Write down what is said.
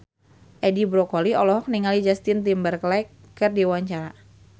Edi Brokoli olohok ningali Justin Timberlake keur diwawancara